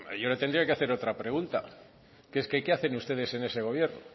yo le tendría que hacer otra pregunta que es qué hacen ustedes en ese gobierno